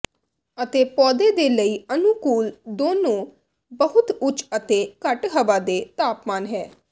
ਅਤੇ ਪੌਦੇ ਦੇ ਲਈ ਅਨੁਕੂਲ ਦੋਨੋ ਬਹੁਤ ਉੱਚ ਅਤੇ ਘੱਟ ਹਵਾ ਦੇ ਤਾਪਮਾਨ ਹੈ